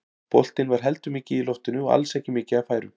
Boltinn var heldur mikið í loftinu og alls ekki mikið af færum.